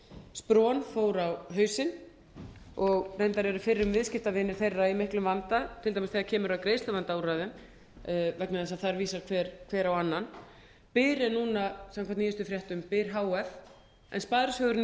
spron fór á hausinn og reyndar eru fyrrum viðskiptavinir þeirra í miklum vanda til dæmis þegar kemur að greiðsluvandaúrræðum vegna þess að þar vísar hver á annan byr er núna samkvæmt nýjustu fréttum byr h f en sparisjóðurinn í